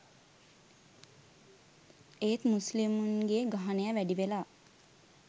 ඒත් මුස්ලිමුන්ගෙ ගහනය වැඩිවෙලා